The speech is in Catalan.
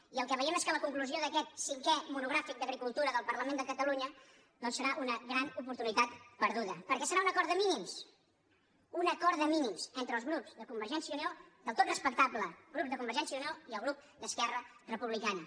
i el que veiem és que la conclusió d’aquest cinquè monogràfic d’agricultura del parlament de catalunya doncs serà una gran oportunitat perdu·da perquè serà un acord de mínims un acord de mí·nims del tot respectable entre el grup de conver·gència i unió i el grup d’esquerra republicana